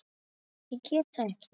Ég get það ekki!